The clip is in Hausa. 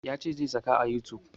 Ya ce zai saka a youtube